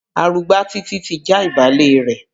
Arugbá Títí ti já ìbálẹ̀ rẹ̀.